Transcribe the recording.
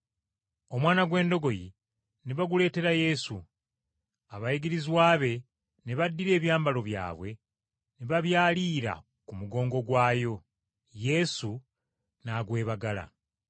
Omwana gw’endogoyi ne baguleetera Yesu. Abayigirizwa be ne baddira ebyambalo byabwe ne babyaliira ku mugongo gwayo, Yesu n’agwebagala.